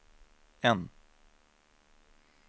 N